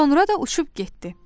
Sonra da uçub getdi.